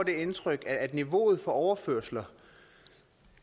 indtryk at niveauet for overførsler